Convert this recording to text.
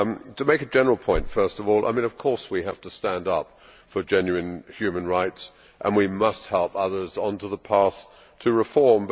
To make a general point, first of all of course we have to stand up for genuine human rights and we must help others on to the path to reform.